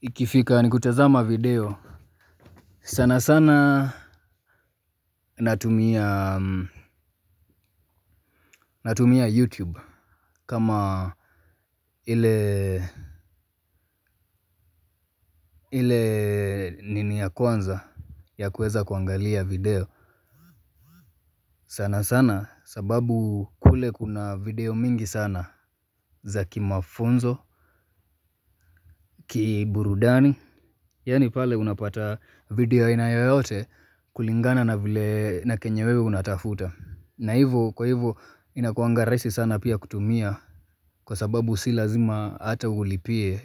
Ikifika ni kutazama video, sana sana natumia. Natumia YouTube. Kama ile ile nini ya kwanza ya kuweza kuangalia video, sana sana sababu kule kuna video mingi sana za kimafunzo, kiburudani. Yani pale unapata video aina yoyote kulingana na vile na kenye wewe unatafuta. Na hivo kwahivo inakuanga rahisi sana pia kutumia kwasababu si lazima hata ulipie.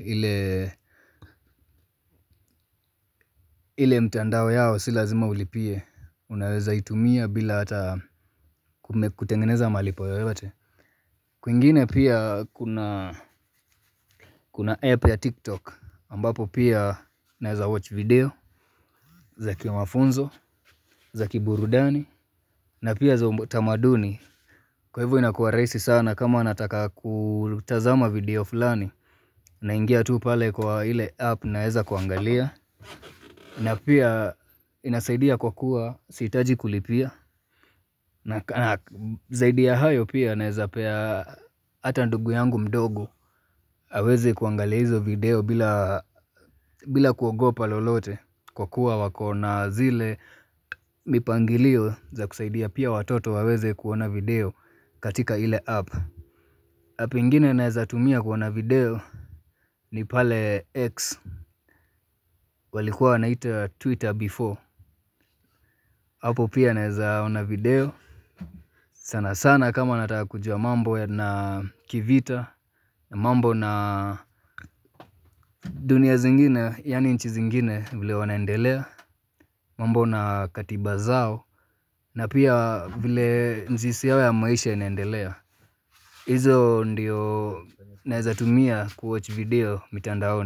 Ile mtandao yao, si lazima ulipie. Unaweza itumia bila hata kutengeneza malipo yoyote. Kwingine pia kuna kuna app ya tiktok ambapo pia naweza 'watch' video za kimafunzo, za kiburudani. Na pia za utamaduni, kwahivo inakuwa rahisi sana kama nataka kutazama video fulani. Naingia tu pale kwa ile app naweza kuangalia. Na pia inasaidia kwa kuwa sihitaji kulipia, na zaidi ya hayo pia naweza pea hata ndugu yangu mdogo. Aweze kuangalia hizo video bila kuogopa lolote, kwa kuwa wako na zile mipangilio za kusaidia pia watoto waweze kuona video katika ile app. App nyingine naweza tumia kuona video ni pale X, walikuwa wanaita Twitter 'before'. Hapo pia naweza ona video sana sana kama nataka kujua mambo ya kivita. Mambo na dunia zingine yani nchi zingine vile wanaendelea. Mambo na katiba zao. Na pia vile mzizi yao ya maisha inaendelea. Hizo ndio naweza tumia 'kuwatch' video mitandaoni.